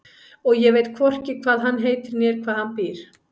Og ég veit hvorki hvað hann heitir né hvar hann býr.